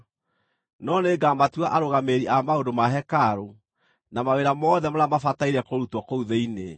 No nĩngamatua arũgamĩrĩri a maũndũ ma hekarũ, na mawĩra mothe marĩa mabataire kũrutwo kũu thĩinĩ.